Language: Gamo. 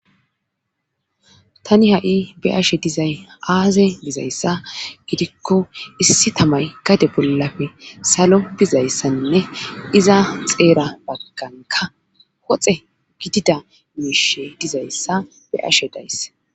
tani ha7i be ashe dizay aaze dizayssa gidikko issi tamay gade bollafe salo bizayssanne iza xeera bagganka woxe gidida miishe dizayssa beashe dayss